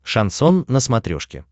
шансон на смотрешке